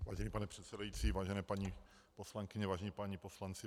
Vážený pane předsedající, vážené paní poslankyně, vážení páni poslanci.